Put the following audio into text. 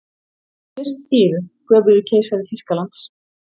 Fyrst yður, göfugi keisari Þýskalands.